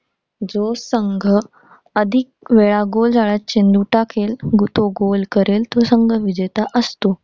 जो संघ अधिकवेळा गोल जाळ्यात चेंडू टाकेल, तो गोल करेल, तो संघ विजेता असतो.